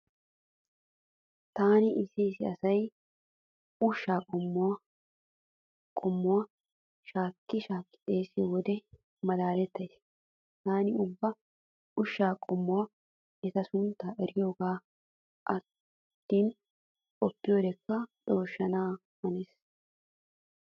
Taani issi issi asay ushshaa qommuwan qommuwan shaakki shaakki xeesiyo wode malaalettays. Taani ubba ushshaa qommota eta sunttan eriyogee attin qoppiyodekka cooshshana hanees.